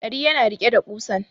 Dari yana riƙe da kusan